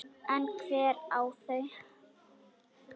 En hver á þau?